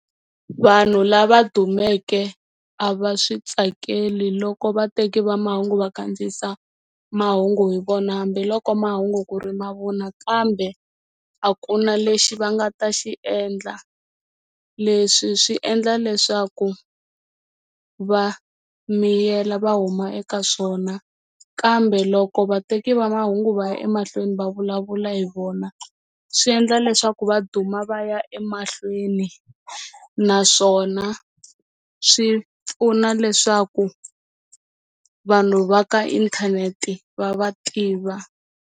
Vanhu lava dumeke a va swi tsakeli loko vateki va mahungu va kandziyisa mahungu hi vona hambiloko mahungu ku ri mavunwa kambe a ku na lexi va nga ta xi endla leswi swi endla leswaku va miyela va huma eka swona kambe loko vateki va mahungu va ya emahlweni va vulavula hi vona swi endla leswaku va duma va ya emahlweni naswona swi pfuna leswaku vanhu va ka inthanete va va tiva.